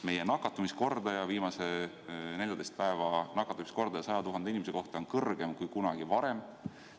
Meie viimase 14 päeva nakatumiskordaja 100 000 inimese kohta on kõrgem kui kunagi varem.